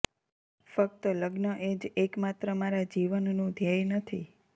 ફક્ત લગ્ન એ જ એકમાત્ર મારાં જીવનનું ધ્યેય નથી